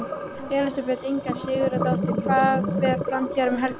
Elísabet Inga Sigurðardóttir: Hvað fer fram hér um helgina?